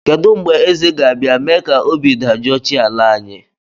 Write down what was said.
Kedụ mgbe Eze ga-abịa mee ka obi dajụọ chi ala anyị